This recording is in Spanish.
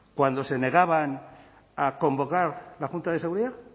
cuando se negaban a convocar la junta de seguridad